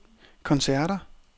koncerter